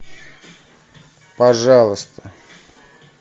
пожалуйста